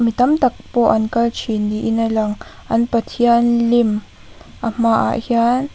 mi tam tak pawh an kal thin niin a lang an pathian lim a hmaah hian --